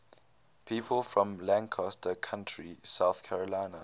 people from lancaster county south carolina